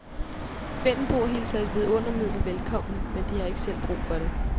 Vendelboer hilser et vidundermiddel velkommen, men har ikke selv brug for det.